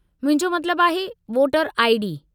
मुंहिंजो मतिलबु आहे वोटर आई .डी.